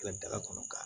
Ka daga kɔnɔ ka